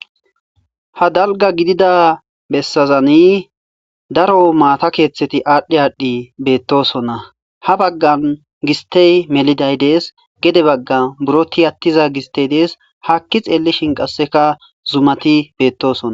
Ha dalga gidida bessazani daro maata keeththeti aadhdhi aadhdhi beettosonna ha baggan gistey meliday dees gede baggan buro tiYattiza gistey dees haakki xeellishin qasseka zumati beettosona.